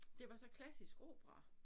Det var så klassisk opera